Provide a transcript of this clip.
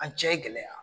An cɛ gɛlɛya